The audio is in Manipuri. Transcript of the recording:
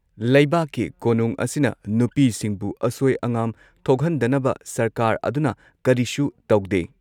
ꯂꯩꯕꯥꯛꯀꯤ ꯀꯣꯅꯨꯡ ꯑꯁꯤꯅ ꯅꯨꯄꯤꯁꯤꯡꯕꯨ ꯑꯁꯣꯏ ꯑꯉꯥꯝ ꯊꯣꯛꯍꯟꯗꯅꯕ ꯁꯔꯀꯥꯔ ꯑꯗꯨꯅ ꯀꯔꯤꯁꯨ ꯇꯧꯗꯦ ꯫